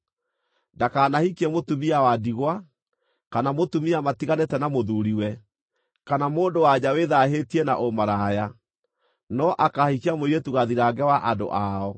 Ndakanahikie mũtumia wa ndigwa, kana mũtumia matiganĩte na mũthuuriwe, kana mũndũ-wa-nja wĩthaahĩtie na ũmaraya, no akaahikia mũirĩtu gathirange wa andũ ao,